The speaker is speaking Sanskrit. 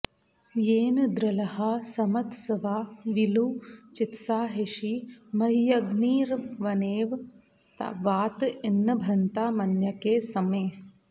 येन॑ दृ॒ळ्हा स॒मत्स्वा वी॒ळु चि॑त्साहिषी॒मह्य॒ग्निर्वने॑व॒ वात॒ इन्नभ॑न्तामन्य॒के स॑मे